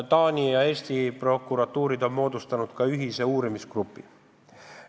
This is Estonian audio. Taani ja Eesti prokuratuur on moodustanud ka ühise uurimisgrupi.